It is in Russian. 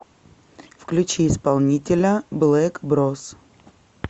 включи исполнителя блэк брос